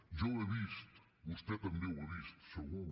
jo ho he vist vostè també ho ha vist segur